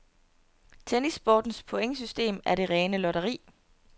Tennissportens pointsystem er det rene lotteri.